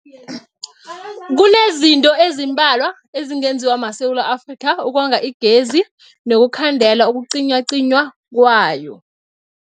Kunezinto ezimbalwa ezingenziwa maSewula Afrika ukonga igezi nokukhandela ukucinywacinywa kwayo.